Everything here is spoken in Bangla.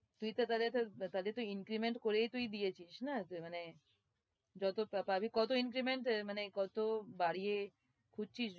তুই তো তাহলে তো তাদের তুই increment করিয়েই তুই দিয়েছিস না মানে, যত পাবি, কত increment আহ মানে কত বাড়িয়ে খুঁজছিস?